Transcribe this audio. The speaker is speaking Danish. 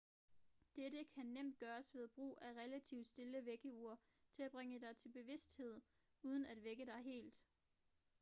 dette kan nemt gøres ved brug af et relativt stille vækkeur til at bringe dig til bevidsthed uden at vække dig helt